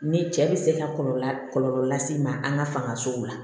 Ni cɛ bɛ se ka kɔlɔlɔ kɔlɔlɔ lase i ma an ka fangasow la